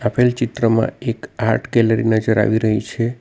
આપેલ ચિત્રમાં એક આર્ટ ગેલેરી નજર આવી રહી છે.